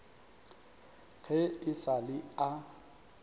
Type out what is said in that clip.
ge e sa le a